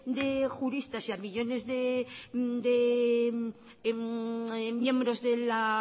de juristas y a millónes de miembros de la